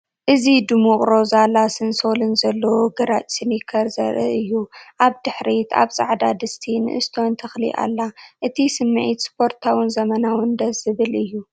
እዚ ድሙቕ ሮዛ ላስን ሶልን ዘለዎ ግራጭ ስኒከር ዘርኢ እዩ። ኣብ ድሕሪት ኣብ ጻዕዳ ድስቲ ንእሽቶ ተኽሊ ኣላ። እቲ ስምዒት ስፖርታውን ዘመናውን ደስ ዝብል እዩ።